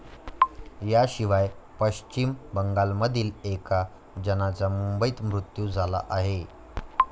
याशिवाय पश्चिम बंगालमधील एका जणाचा मुंबईत मृत्यू झाला आहे.